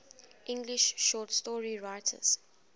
english short story writers